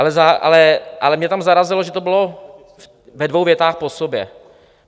Ale mě tam zarazilo, že to bylo ve dvou větách po sobě.